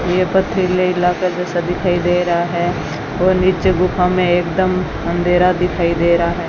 ये पथरीले इलाके जैसा दिखाई दे रहा है और नीचे गुफा में एकदम अंधेरा दिखाई दे रहा है।